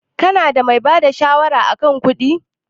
Ka na da mai bada shawara a kan kuɗi?